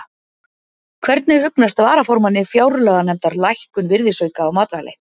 Hvernig hugnast varaformanni fjárlaganefndar lækkun virðisauka á matvæli?